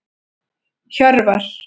Hjörvar